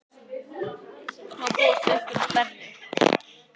Má búast við einhverjum stærri?